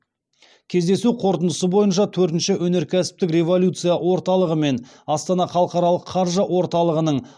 кездесу қорытындысы бойынша төртінші өнеркәсіптік революция орталығы мен астана халықаралық қаржы орталығының